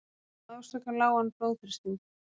hvað orsakar lágan blóðþrýsting